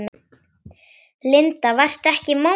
Linda: Varstu ekkert móður?